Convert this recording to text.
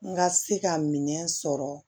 N ka se ka minɛn sɔrɔ